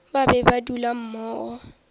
ba be ba dula mmogo